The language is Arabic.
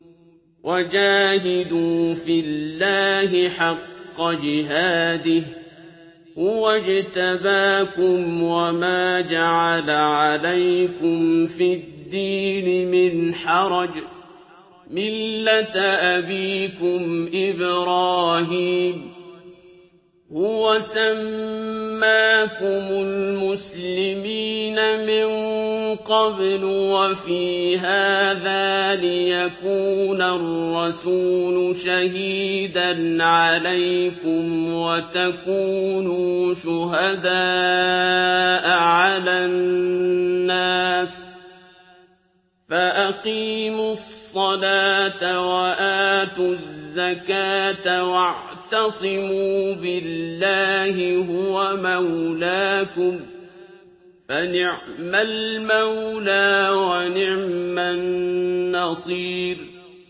وَجَاهِدُوا فِي اللَّهِ حَقَّ جِهَادِهِ ۚ هُوَ اجْتَبَاكُمْ وَمَا جَعَلَ عَلَيْكُمْ فِي الدِّينِ مِنْ حَرَجٍ ۚ مِّلَّةَ أَبِيكُمْ إِبْرَاهِيمَ ۚ هُوَ سَمَّاكُمُ الْمُسْلِمِينَ مِن قَبْلُ وَفِي هَٰذَا لِيَكُونَ الرَّسُولُ شَهِيدًا عَلَيْكُمْ وَتَكُونُوا شُهَدَاءَ عَلَى النَّاسِ ۚ فَأَقِيمُوا الصَّلَاةَ وَآتُوا الزَّكَاةَ وَاعْتَصِمُوا بِاللَّهِ هُوَ مَوْلَاكُمْ ۖ فَنِعْمَ الْمَوْلَىٰ وَنِعْمَ النَّصِيرُ